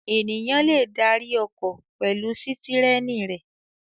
Ènìyàn le darí ọkọ̀ pẹ̀lú sítẹ́rínì rẹ̀.